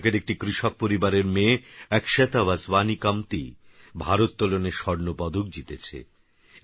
কর্ণাটকেরএকটিকৃষকপরিবারেরমেয়েAkshata Basavani Kamtiভারোত্তলনেস্বর্ণপদকজিতেছে